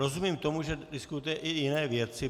Rozumím tomu, že diskutujete i jiné věci.